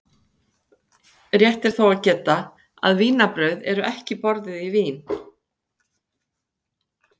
Rétt er þó að geta að vínarbrauð eru ekki borðuð í Vín.